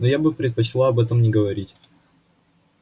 но я бы предпочла об этом не говорить